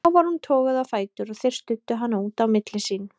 Þá var hún toguð á fætur og þeir studdu hana út á milli sín.